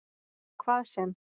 Hvað sem